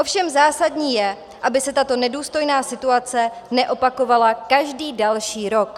Ovšem zásadní je, aby se tato nedůstojná situace neopakovala každý další rok.